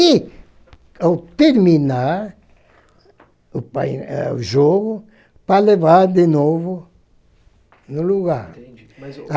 E, ao terminar o pai o jogo, para levar de novo no lugar. Entendi, mas o